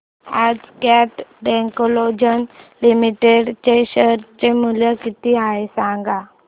आज Cat technologies limited चे share चे मूल्य किती आहे सांगा